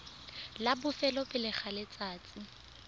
la bofelo pele ga letsatsi